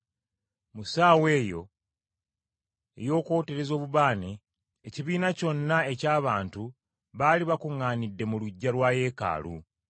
Mu ssaawa eyo ey’okwoteza obubaane ekibiina kyonna eky’abantu baali bakuŋŋaanidde mu luggya lwa Yeekaalu.